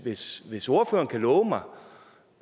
hvis hvis ordføreren kunne love mig